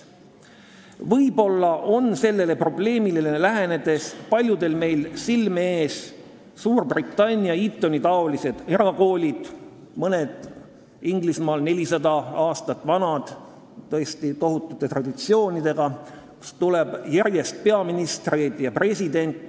Võib-olla on sellele probleemile lähenedes paljudel silme ees Suurbritannia Etoni-taolised erakoolid, mõned neist Inglise koolidest on 400 aastat vanad, tõesti tohutute traditsioonidega, kust tuleb järjest peaministreid ja presidente ...